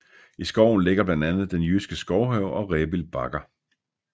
I skoven ligger blandt andet Den Jyske Skovhave og Rebild Bakker